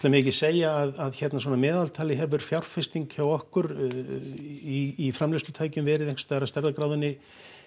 megi ekki segja að svona að meðaltali hefur fjárfesting hjá okkur í framleiðslutækjum verið einhversstaðar af stærðargráðunni